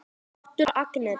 Þáttur Agnetu